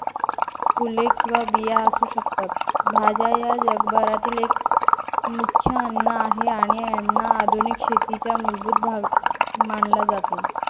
फुले किंवा बिया असू शकतात. भाज्या या जगभरातील एक मुख्य अन्न आहे आणि यांना आधुनिक शेतीच्या मूलभूत भाग मानला जातो.